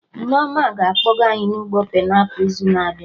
Nneoma na-akpọga anyị na ugbo painiapụl n'izu na-abịa